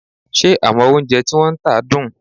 Ṣé àwọn oúnjẹ tí wọ́n ń tà dùn?